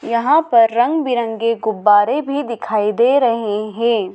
यहां पर रंग बिरंगे गुब्बारे भी दिखाई दे रहे हैं।